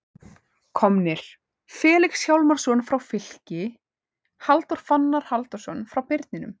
Komnir: Felix Hjálmarsson frá Fylki Halldór Fannar Halldórsson frá Birninum